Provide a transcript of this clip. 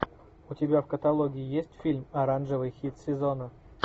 у тебя в каталоге есть фильм оранжевый хит сезона